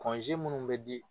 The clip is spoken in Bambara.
minnu bɛ di